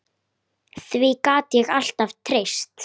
Því gat ég alltaf treyst.